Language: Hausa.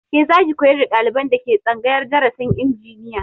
Ke zaki koyar da ɗaliban da ke tsangayar darasin injiniya